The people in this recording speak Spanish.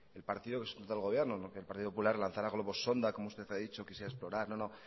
el partido del gobierno que el partido popular lanzara globos sonda como usted ha dicho que si a explorar no no